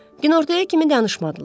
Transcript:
Günortaya kimi danışmadılar.